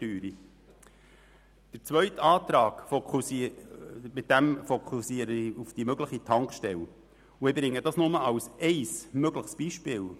Mit dem zweiten Antrag fokussiere ich auf die mögliche Tankstelle und bringe es nur als ein mögliches Beispiel.